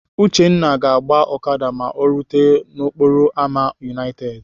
Uchenna ga-agba Okada la o rute n'okporo ámá United.